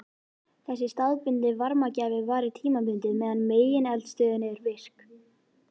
Þessi staðbundni varmagjafi varir tímabundið meðan megineldstöðin er virk.